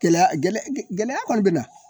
Gɛlɛya, gɛlɛya kɔni bɛ na.